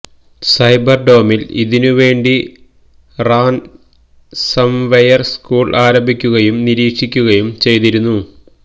cyber ഡോമിൽ ഇതിനു വേണ്ടി റാൻസംവെയർ സ്കൂൾ ആരംഭിക്കുകയും നിരീക്ഷിക്കുകയും ചെയ്തിരുന്നു